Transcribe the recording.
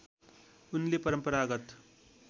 उनले परम्परागत